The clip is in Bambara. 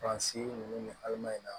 Fan si ninnu ni halama in na